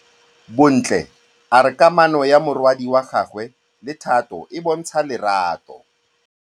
Bontle a re kamanô ya morwadi wa gagwe le Thato e bontsha lerato.